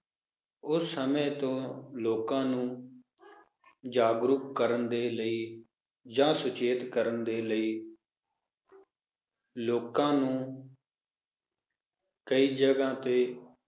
ਉਸ ਸਮੇ ਤੋਂ ਲੋਕਾਂ ਨੂੰ ਜਾਗਰੁਕ ਕਰਨ ਦੇ ਲਈ ਜਾਂ ਸੁਚੇਤ ਕਰਨ ਦੇ ਲਈ ਲੋਕਾਂ ਨੂੰ ਕਈ ਜਗਾਹ ਤੇ